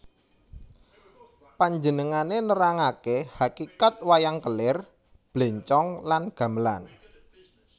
Panjenengané nerangaké hakikat wayang kelir blencong lan gamelan